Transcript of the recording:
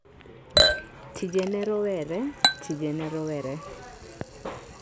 Tije ne Rowere: Tije ne rowere.